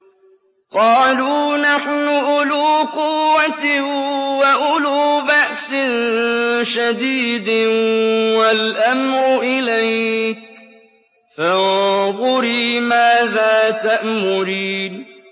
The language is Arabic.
قَالُوا نَحْنُ أُولُو قُوَّةٍ وَأُولُو بَأْسٍ شَدِيدٍ وَالْأَمْرُ إِلَيْكِ فَانظُرِي مَاذَا تَأْمُرِينَ